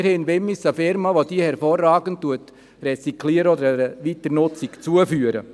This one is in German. Wir haben in Wimmis eine Firma, welche diese hervorragend rezykliert oder einer Weiternutzung zuführt.